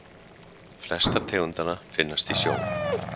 flestar tegundanna finnast í sjó